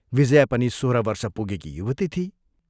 विजया पनि सोह्र वर्ष पुगेकी युवती थिई।